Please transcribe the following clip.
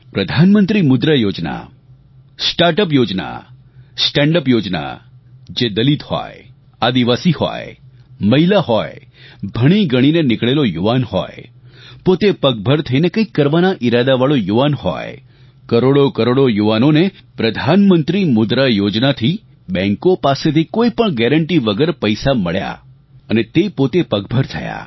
પ્રધાનમંત્રી Mudra Yojana startup Yojana standup Yojana જે દલિત હોય આદિવાસી હોય મહિલા હોય ભણીગણીને નિકળેલો યુવાન હોય પોતે પગભર થઇને કંઇક કરવાના ઇરાદાવાળો યુવાન હોય કરોડોકરોડો યુવાનોને પ્રધાનમંત્રી મુદ્રા યોજના થી બેંકો પાસેથી કોઇપણ ગેરેન્ટી વગર પૈસા મળ્યાં અને તે પોતે પગભર થયાં